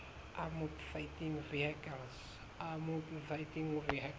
armoured fighting vehicles